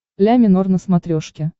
ля минор на смотрешке